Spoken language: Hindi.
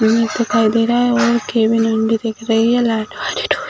इमेज दिखाई दे रहा है और केबिन दिख रही हैं और लाइट वाली डोर --